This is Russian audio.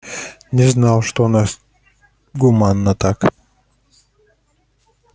не знал что у нас гуманно так